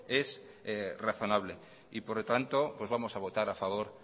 es razonable y por lo tanto vamos a votar a favor